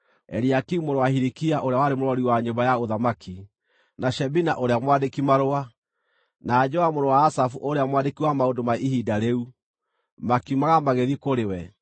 Eliakimu mũrũ wa Hilikia ũrĩa warĩ mũrori wa nyũmba ya ũthamaki, na Shebina ũrĩa mwandĩki-marũa, na Joa mũrũ wa Asafu ũrĩa mwandĩki wa maũndũ ma ihinda rĩu, makiumagara magĩthiĩ kũrĩ we.